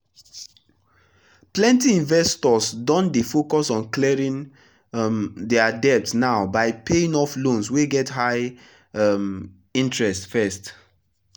plenty investors don dey focus on clearing um their debt now by paying off loans wey get high um interest first.